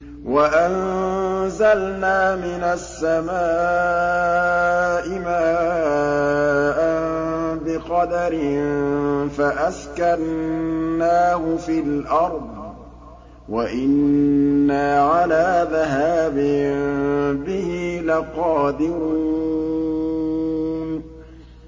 وَأَنزَلْنَا مِنَ السَّمَاءِ مَاءً بِقَدَرٍ فَأَسْكَنَّاهُ فِي الْأَرْضِ ۖ وَإِنَّا عَلَىٰ ذَهَابٍ بِهِ لَقَادِرُونَ